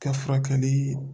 Kɛ furakɛli